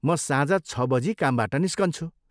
म साँझ छ बजी कामबाट निस्कन्छु ।